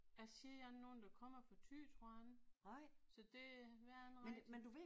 Jeg kender ikke nogen der kommer fra Ty tror jeg ikke. Så det øh ved jeg ikke rigtig